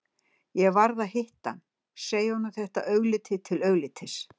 Ég varð að hitta hann, segja honum þetta augliti til auglitis.